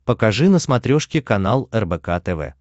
покажи на смотрешке канал рбк тв